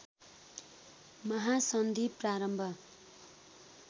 महासन्धि प्रारम्भ